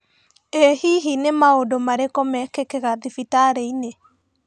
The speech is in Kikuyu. Ĩ hihi nĩ maũndũ marĩkũ mekĩkaga thibitarĩ-inĩ?